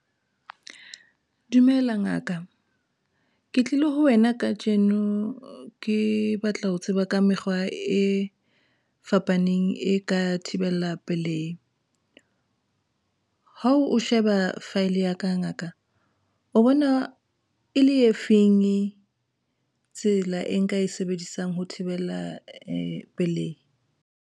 Dumela ngaka, Ke tlile ho wena kajeno ke batla ho tseba ka mekgwa e fapaneng e ka thibela pelehi. Ha o sheba file ya ka ngaka o bona e le e feng tsela e nka e sebedisang ho thibela pelehi?